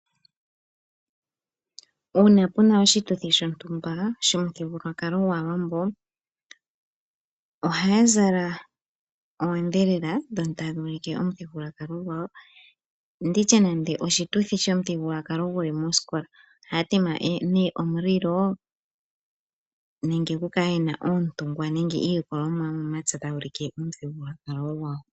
Uuna puna oshituthi shontumba shomuthigululwakalo gwaawambo ohaya zala oodhelele dhono tadhuulike omuthigululwakalo gwawo nditye nande oshituthi shomuthigululwakalo guli moskola ohaya tema nee omulilo nenge ku kale yena oontungwa nenge iikwamo yomomatse tayuulike omuthigululwakalo gwawo.